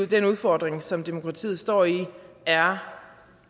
den udfordring som demokratiet står i er